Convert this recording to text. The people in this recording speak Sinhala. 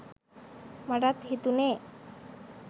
මටත් හිතුනේ